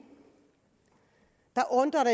undrer